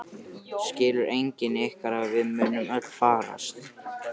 Skilur enginn ykkar að við munum öll farast?